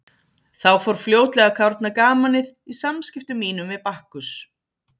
Þá fór fljótlega að kárna gamanið í samskiptum mínum við Bakkus.